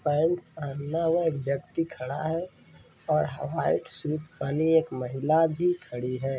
पहल हमलावर व्यक्ति खड़ा है और व्हाइट सूट पहने एक महिला भी खड़ी है।